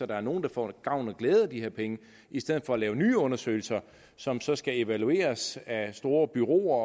der er nogle der får gavn og glæde af de her penge i stedet for at lave nye undersøgelser som så skal evalueres af store bureauer